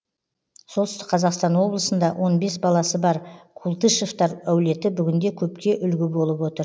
солтүстік қазақстан облысында он бес баласы бар култышевтар әулеті бүгінде көпке үлгі болып отыр